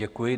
Děkuji.